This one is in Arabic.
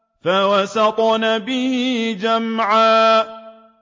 فَوَسَطْنَ بِهِ جَمْعًا